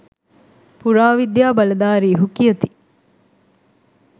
පුරාවිද්‍යා බලධාරීහු කියති.